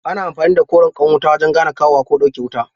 Ana amfani da koren ƙwan wuta wajen gane kawowa ko ɗauke wuta